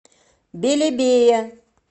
белебее